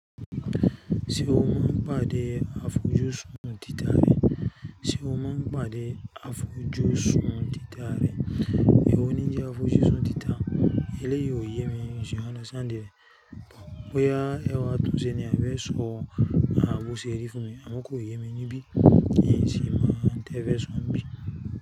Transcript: Ti o mà n pàdé àfòjúsùn tìtà rẹ̀, ṣé o mà n pàdé àfójúsùn tìtà rẹ̀, èwò ní jẹ̀ àfójúsùn tìtà, èlé yí ò yé mi ní, you understand rẹ̀? Bóyá èrò à tùn sẹ ní, à bẹ sò à bú sí ẹ dí fún mi, àmúkò yé mi ní bí, níyìn sí mà n tẹ bẹ sò n bí.